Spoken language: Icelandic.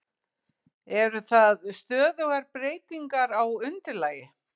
Eru það stöðugar breytingar á undirlagi?